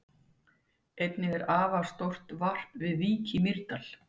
Einnig er afar stórt varp við Vík í Mýrdal.